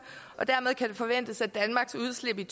og dermed kan det forventes at danmarks udslip i